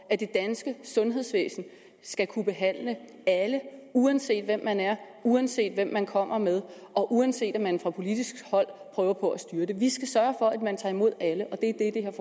at det danske sundhedsvæsen skal kunne behandle alle uanset hvem man er uanset hvem man kommer med og uanset at man fra politisk hold prøver på at styre det vi skal sørge for at man tager imod alle